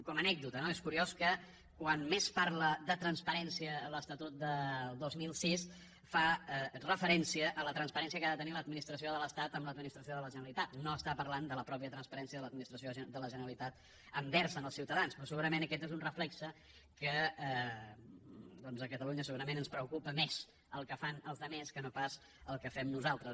com a anècdota no és curiós que quan més parla de transparència l’estatut del dos mil sis fa referència a la transparència que ha de tenir l’administració de l’estat amb l’administració de la generalitat no parla de la pròpia transparència de l’administració de la generalitat envers els ciutadans però segurament aquest és un reflex del fet que a catalunya segurament ens preocupa més el que fan els altres que no pas el que fem nosaltres